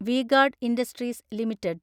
V-Guard industries limited